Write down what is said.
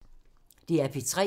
DR P3